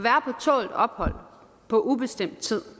tålt ophold på ubestemt tid